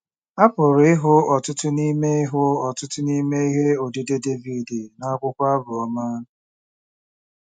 A pụrụ ịhụ ọtụtụ n’ime ịhụ ọtụtụ n’ime ihe odide Devid n’akwụkwọ Abụ Ọma.